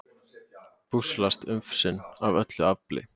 busslast ufsinn af öllu afli